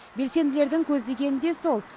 белсенділердің көздегені де сол